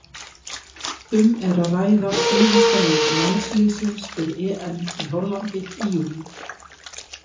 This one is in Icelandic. Um er að ræða síðasta leik landsliðsins fyrir EM í Hollandi í júlí.